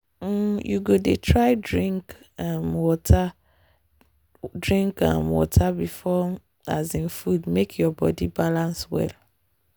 um you go try dey drink um water drink um water before um food make your body balance well.